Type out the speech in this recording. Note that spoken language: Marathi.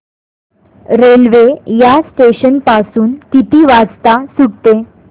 रेल्वे या स्टेशन पासून किती वाजता सुटते